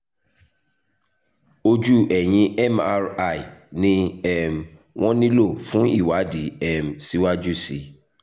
ojú ẹ̀yìn mri ni um wọ́n nílò fún ìwádìí um síwájú sí i